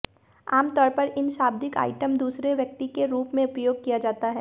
आमतौर पर इन शाब्दिक आइटम दूसरे व्यक्ति के रूप में उपयोग किया जाता है